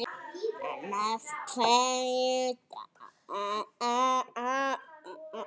En af hverju dans?